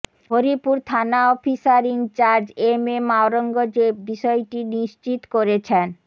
হরিপুর থানা officer in charge M M Aurangzeb বিষয়টি নিশ্চিত করেছেন